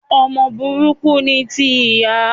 Ọmọ burúkú ni ti ìyá